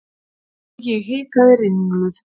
Og ég hikaði ringluð.